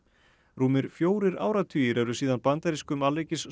rúmir fjórir áratugir eru síðan bandarískum